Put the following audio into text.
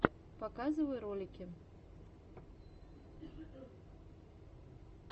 показывай ролики